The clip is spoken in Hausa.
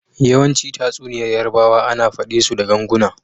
Yawanci tatsuniyar yarbawa ana fade su da ganguna.